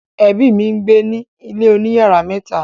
ẹbi mí ngbẹ ní ilè òní iyàrá mẹta